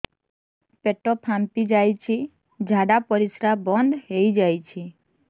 ପେଟ ଫାମ୍ପି ଯାଇଛି ଝାଡ଼ା ପରିସ୍ରା ବନ୍ଦ ହେଇଯାଇଛି